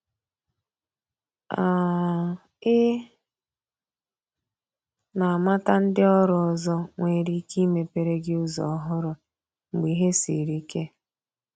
um i na amata ndị ọrụ ọzọ nwere ike imepere gi ụzọ ọhụrụ mgbe ìhè sịrị ike